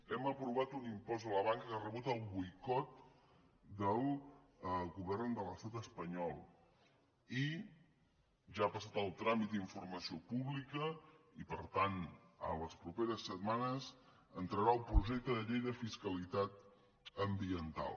hem aprovat un impost a la banca que ha rebut el boicot del govern de l’estat espanyol i ja ha passat el tràmit d’informació pública i per tant les properes setmanes entrarà el projecte de llei de fiscalitat ambiental